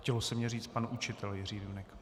Chtělo se mi říct pan učitel Jiří Junek.